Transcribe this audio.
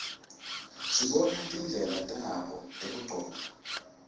sibona tindlela tabo tekugcoka